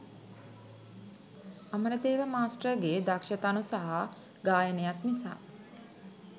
අමරදේව මාස්ටර්ගේ දක්ෂ තනු සහ ගායනයත් නිසා.